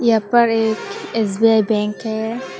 यहां पर एक एस_बी_आई बैंक है।